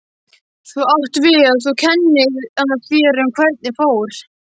Þú átt við að þú kennir þér um hvernig fór?